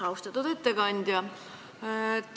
Austatud ettekandja!